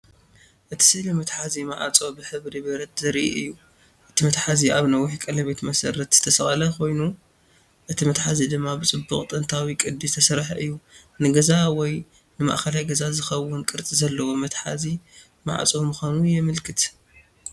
እቲ ስእሊ መትሓዚ ማዕጾ ብሕብሪ ብረት ዘርኢ እዩ። እቲ መትሓዚ ኣብ ነዊሕ ቀለቤት መሰረት ዝተሰቕለ ኮይኑ፡ እቲ መትሓዚ ድማ ብጽቡቕ ጥንታዊ ቅዲ ዝተሰርሐ እዩ። ንገዛ ወይ ንማእከላይ ገዛ ዝኸውን ቅርጺ ዘለዎ መትሓዚ ማዕጾ ምዃኑ የመልክት።